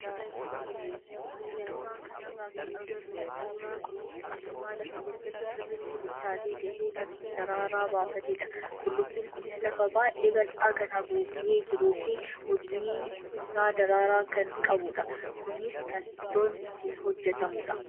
Suuraa kanarraa kan agarru suuraa qullubbii diimaa lafa keessatti sirriitti bilchaatee gahee kan daraaraa baafatedha. Qullubbiin kunis lafa baay'ee bal'aa kan haguugee jiruu fi hudnid isaa daraaraa kan qabudha. Kunis kan ittoon ittiin hojjatamudha.